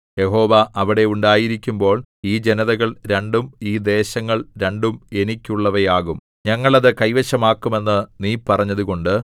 യഹോവ അവിടെ ഉണ്ടായിരിക്കുമ്പോൾ ഈ ജനതകൾ രണ്ടും ഈ ദേശങ്ങൾ രണ്ടും എനിക്കുള്ളവയാകും ഞങ്ങൾ അത് കൈവശമാക്കും എന്ന് നീ പറഞ്ഞതുകൊണ്ട്